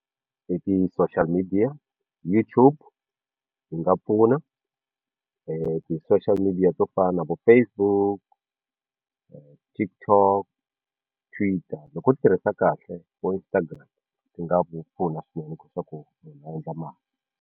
I ti-social midiya YouTube yi nga pfuna ti-social midiya to fana na vo Facebook TikTok Twitter loko u swi tirhisa kahle vo Instagram ti nga ku pfuna swinene u kota ku u nga endla mali.